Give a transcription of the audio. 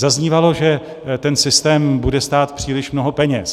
Zaznívalo, že ten systém bude stát příliš mnoho peněz.